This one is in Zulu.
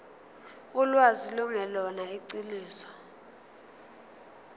ulwazi lungelona iqiniso